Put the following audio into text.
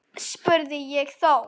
spurði ég þá.